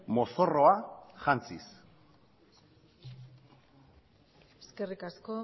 mozorroa jantziz eskerrik asko